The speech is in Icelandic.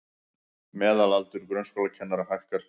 Meðalaldur grunnskólakennara hækkar